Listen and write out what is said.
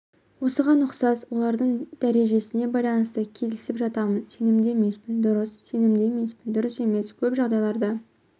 осыған ұқсас олардың дәрежесіне байланысты келісіп жатамын сенімді емеспін дұрыс сенімді емеспін дұрыс емес көп жағдайларда